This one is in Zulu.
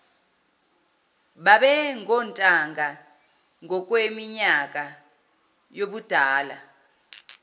babengontanga ngokweminyaka yobudala